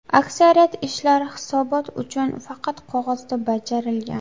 Aksariyat ishlar hisobot uchun, faqat qog‘ozda bajarilgan.